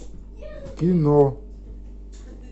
кино